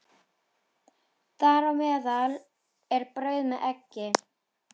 Þar á meðal er brauð með eggi.